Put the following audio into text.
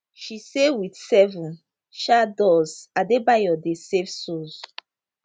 she say wit seven um doors adebayo dey save souls